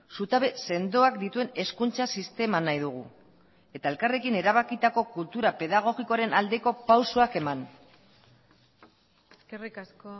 zutabe sendoak dituen hezkuntza sistema nahi dugu eta elkarrekin erabakitako kultura pedagogikoaren aldeko pausoak eman eskerrik asko